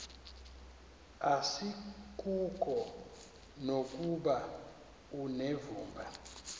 asikuko nokuba unevumba